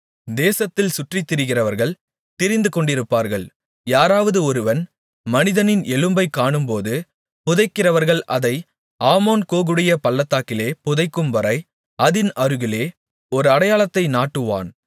தேசத்தில் சுற்றித்திரிகிறவர்கள் திரிந்துகொண்டிருப்பார்கள் யாராவது ஒருவன் மனிதனின் எலும்பைக் காணும்போது புதைக்கிறவர்கள் அதை ஆமோன்கோகுடைய பள்ளத்தாக்கிலே புதைக்கும்வரை அதின் அருகிலே ஒரு அடையாளத்தை நாட்டுவான்